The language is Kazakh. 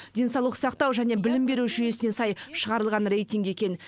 денсаулық сақтау және білім беру жүйесіне сай шығарылған рейтинг екен